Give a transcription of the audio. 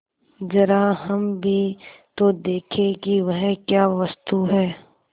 जरा हम भी तो देखें कि वह क्या वस्तु है